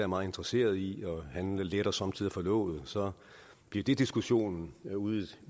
meget interesseret i han letter somme tider på låget og så bliver det diskussionen ude